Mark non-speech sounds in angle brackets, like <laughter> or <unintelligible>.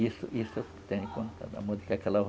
Isso isso <unintelligible>